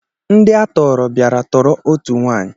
Ndị a tọọrọ bịara tọọrọ otu nwaanyị